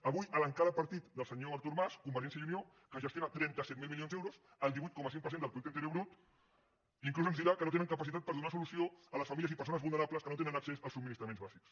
avui l’encara partit del senyor artur mas convergència i unió que gestiona trenta set mil milions d’euros el divuit coma cinc per cent del producte interior brut inclús ens dirà que no tenen capacitat per donar solució a les famílies i persones vulnerables que no tenen accés als subministraments bàsics